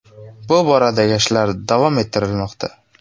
Bu boradagi ishlar davom ettirilmoqda.